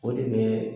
O de bɛ